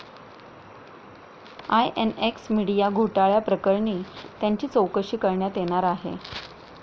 INX Media घोटाळ्याप्रकरणी त्यांची चौकशी करण्यात येणार आहे.